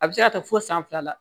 A bɛ se ka taa fo san fila la